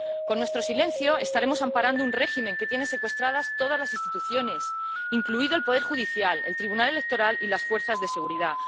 Con nuestro silencio estaremos amparando un régimen que tiene secuestradas todas las instituciones, incluidos el poder judicial, el tribunal electoral y las fuerzas de seguridad